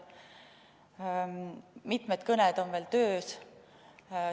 Mitmed kõned on veel töös.